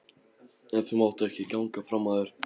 En þú mátt ekki ganga fram af þér